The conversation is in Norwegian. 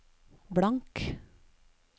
blank